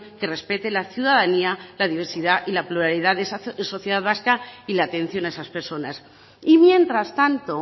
que respete la ciudadanía la diversidad y la pluralidad de esa sociedad vasca y la atención a esas personas y mientras tanto